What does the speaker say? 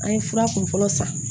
An ye fura kunfɔlɔ san